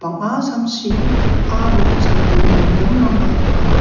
banga samsi aro samdim-boldimrangba donga.